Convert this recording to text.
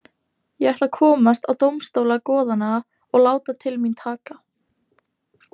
Ég ætla að komast á dómstóla goðanna og láta til mín taka.